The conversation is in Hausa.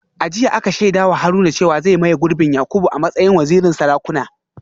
A jiya aka shaida wa Haruna cewa zai maye gurbin Yakubu a matsayin wazirin Sarakuna